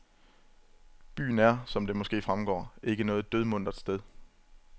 Byen er, som det måske fremgår, ikke noget dødmuntert sted.